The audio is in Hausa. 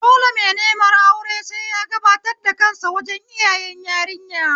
Dole mai neman aure sai ya gabatar da kansa wajen iyayen yarinya